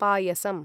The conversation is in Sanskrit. पायसम्